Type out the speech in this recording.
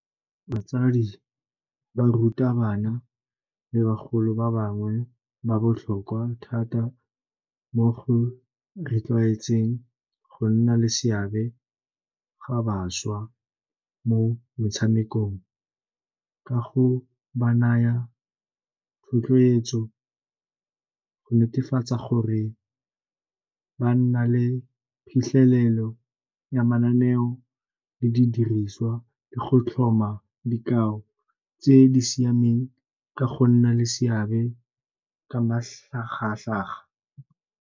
Batsadi ba ruta bana le bagolo ba bangwe ba botlhokwa thata mo go rotloetseng go nna le seabe ga bašwa mo motshamekong ka go ba naya thotloetso, go netefatsa gore ba nna le phitlhelelo ya mananeo le di diriswa le go tlhoma dikao tse di siameng ka go nna le seabe ka matlhagatlhaga.